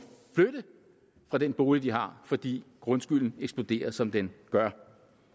flytte fra den bolig de har fordi grundskylden eksploderer som den gør